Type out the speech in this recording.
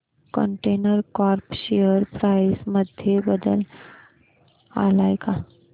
container corp share price मध्ये बदल आलाय का